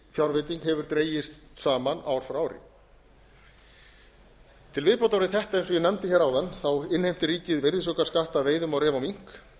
fjárveiting hefur dregist saman ár frá ári til viðbótar við þetta eins og ég nefndi áðan innheimtir ríkið virðisaukaskatt af veiðum á ref og mink